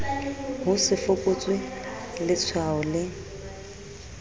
ho se fokotswe letshwao le